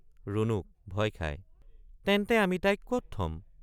ৰুণুক— ভয় খাই তেন্তে আমি তাইক কত থম?